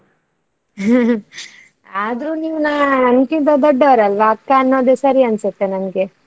ಆದ್ರು ನೀವು ನನ್ಕಿಂತ ದೊಡ್ಡವರಲ್ಲ ಅಕ್ಕ ಅನ್ನೋದು ಸರಿ ಅನ್ಸುತ್ತೆ ನನ್ಗೆ.